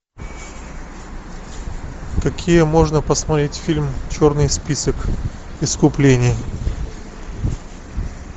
какие можно посмотреть фильм черный список искупление